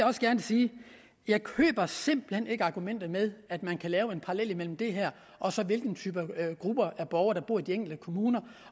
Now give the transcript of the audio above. også gerne sige at jeg simpelt hen ikke køber argumentet med at man kan lave en parallel mellem det her og så hvilke grupper af borgere der bor i de enkelte kommuner